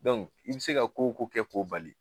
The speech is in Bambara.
i bi se ka ko ko kɛ ko bali